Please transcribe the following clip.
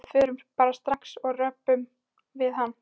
Við förum bara strax og röbbum við hann.